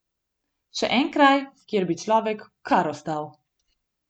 Še en kraj, kjer bi človek kar ostal.